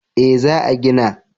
Eh za a gina